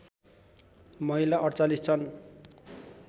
महिला ४८ छन्